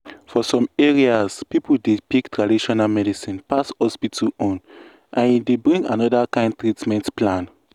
for some areas people dey pick traditional medicine pass hospital own and e dey bring another kind treatment plan.